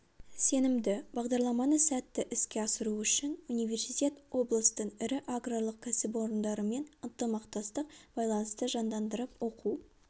сенімді бағдарламаны сәтті іске асыру үшін университет облыстың ірі аграрлық кәсіпорындарымен ынтымақтастық байланысты жандандырып оқу